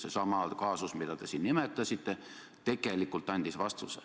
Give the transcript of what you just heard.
Seesama kaasus, mida te siin nimetasite, tegelikult andis vastuse.